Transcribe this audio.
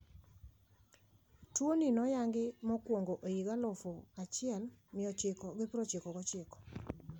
Tuoni noyangi mokuongo higa alufu achiel mia ochiko gi prochiko gi ochiko.